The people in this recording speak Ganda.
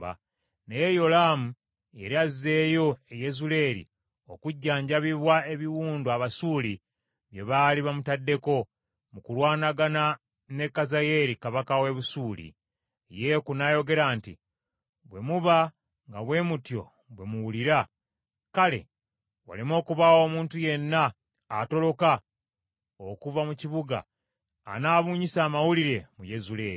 Naye Yolaamu yali azeeyo e Yezuleeri okujjanjabibwa ebiwundu Abasuuli bye baali bamutaddeko, mu kulwanagana ne Kazayeeri kabaka w’e Busuuli. Yeeku n’ayogera nti, “Bwe muba nga bwe mutyo bwe muwulira, kale waleme okubaawo omuntu yenna atoloka okuva mu kibuga anaabunyisa amawulire mu Yezuleeri.”